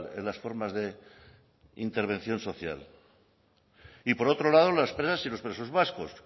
en las formas de intervención social y por otro lado las presas y los presos vascos